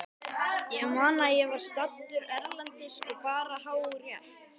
Ég man að ég var staddur erlendis og bara hágrét.